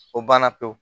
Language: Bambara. O banna pewu